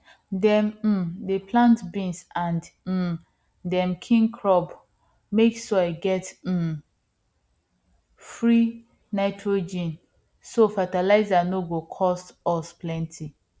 dem um dey plant beans and um dem kin crops make soil get um free nitrogen so fertilizer no go cost us plenty